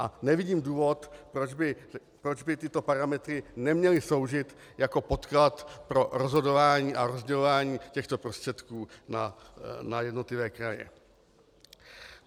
A nevidím důvod, proč by tyto parametry neměly sloužit jako podklad pro rozhodování a rozdělování těchto prostředků na jednotlivé kraje.